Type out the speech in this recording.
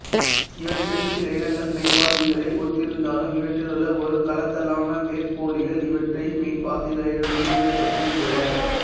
இவற்றில் சில இனங்கள் மெய்ப்பாசிகளை ஒத்திருந்தாலும் இவற்றிலுள்ள ஒருகலத்தாலான வேர்ப்போலிகள் இவற்றை மெய்ப்பாசிகளிடமிருந்து வேறுபடுத்துகின்றன